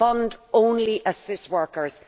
the fund only assists workers.